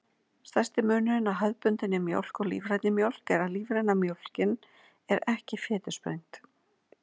Stærsti munurinn á hefðbundinni mjólk og lífrænni mjólk er að lífræna mjólkin er ekki fitusprengd.